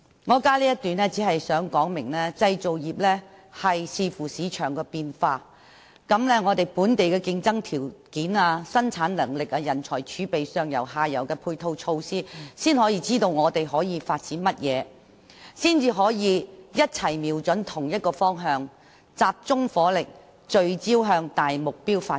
我加入這一段，旨在說明製造業須視乎市場變化，如本地競爭條件、生產能力、人才儲備、上游和下游的配套措施，才能知道可以發展的方向，共同瞄準同一方向，集中火力，聚焦向大目標發展。